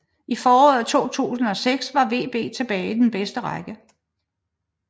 I foråret 2006 var VB tilbage i den bedste række